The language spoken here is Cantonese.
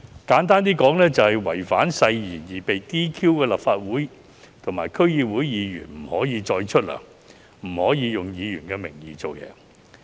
簡單來說，因違反誓言而被 "DQ" 的立法會和區議會議員，不得獲發酬金，不得以議員身份行事。